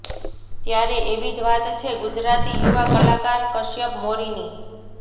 ત્યારે એવી જ વાત છે ગુજરાતી યુવા કલાકાર કશ્યપ મોરીની